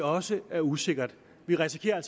også er usikkert vi risikerer